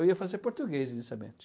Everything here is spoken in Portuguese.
Eu ia fazer português, inicialmente.